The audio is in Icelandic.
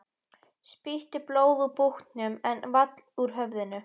Spýttist blóð úr búknum en vall úr höfðinu.